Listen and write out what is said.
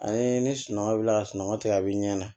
Ani ni sunɔgɔ bi ka sunɔgɔ tigɛ a be ɲɛ